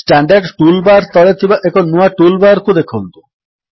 standard toolbar ତଳେ ଥିବା ଏକ ନୂଆ ଟୁଲ୍ ବାର୍ କୁ ଦେଖନ୍ତୁ